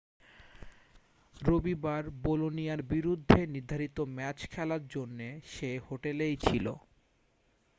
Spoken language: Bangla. রবিবার বোলোনিয়ার বিরুদ্ধে নির্ধারিত ম্যাচ খেলার জন্যে সে হোটেলেই ছিল